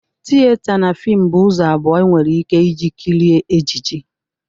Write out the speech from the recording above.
Tiyeta na fimụ bụ ụzọ abụọ enwere ike iji kirie ejiji.